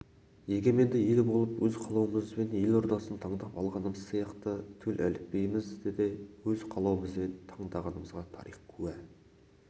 егеменді ел болып өз қалауымызбен ел ордасын таңдап алғанымыз сияқты төл әліпбиімізді де өз қалауымызбен таңдағанымызға тарих куә